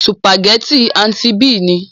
Sùpàgétì "Aunty B" ni.